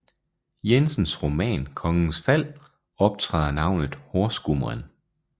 Jensens roman Kongens Fald optræder navnet horsgumren